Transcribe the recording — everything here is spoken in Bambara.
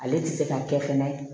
Ale tɛ se ka kɛ fɛnɛ